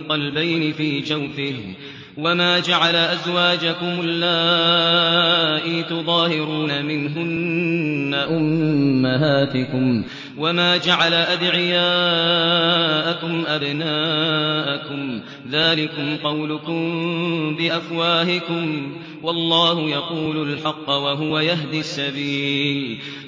قَلْبَيْنِ فِي جَوْفِهِ ۚ وَمَا جَعَلَ أَزْوَاجَكُمُ اللَّائِي تُظَاهِرُونَ مِنْهُنَّ أُمَّهَاتِكُمْ ۚ وَمَا جَعَلَ أَدْعِيَاءَكُمْ أَبْنَاءَكُمْ ۚ ذَٰلِكُمْ قَوْلُكُم بِأَفْوَاهِكُمْ ۖ وَاللَّهُ يَقُولُ الْحَقَّ وَهُوَ يَهْدِي السَّبِيلَ